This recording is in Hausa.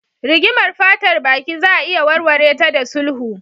Rigimar fatar baki za a iya warware ta da sulhu.